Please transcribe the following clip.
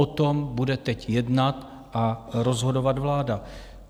O tom bude teď jednat a rozhodovat vláda.